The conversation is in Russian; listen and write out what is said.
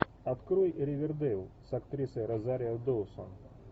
открой ривердейл с актрисой розарио доусон